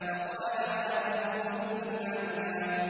فَقَالَ أَنَا رَبُّكُمُ الْأَعْلَىٰ